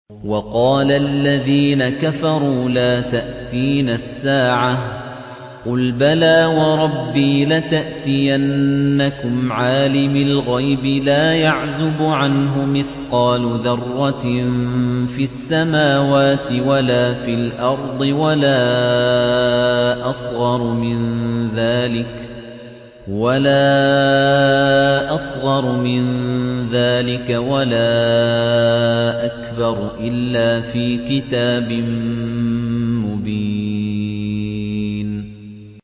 وَقَالَ الَّذِينَ كَفَرُوا لَا تَأْتِينَا السَّاعَةُ ۖ قُلْ بَلَىٰ وَرَبِّي لَتَأْتِيَنَّكُمْ عَالِمِ الْغَيْبِ ۖ لَا يَعْزُبُ عَنْهُ مِثْقَالُ ذَرَّةٍ فِي السَّمَاوَاتِ وَلَا فِي الْأَرْضِ وَلَا أَصْغَرُ مِن ذَٰلِكَ وَلَا أَكْبَرُ إِلَّا فِي كِتَابٍ مُّبِينٍ